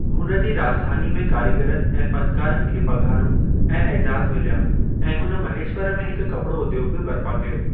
हुन जी राज॒धानी में कारीगरनि ऐं फ़नकारनि खे पघारूं ऐं एजाज़ मिल्या ऐं हुन महेश्वर में हिकु कपड़ो उद्योगु बि बरिपा कयो।